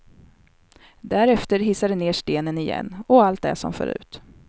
Därefter hissar de ner stenen igen och allt är som förut.